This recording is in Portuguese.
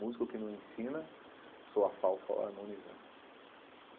Músico que não ensina soa a falso ao harmonizar.